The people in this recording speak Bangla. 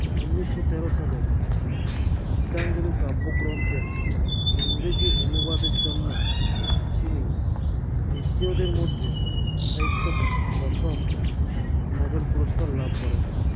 উনিশো তেরো সালের গীতাঞ্জলি কাব্যগ্রন্থের ইংরেজি অনুবাদের জন্য তিনি এশিয়োদের মধ্যে সাহিত্য প্রথম নোবেল পুরস্কার লাভ করেন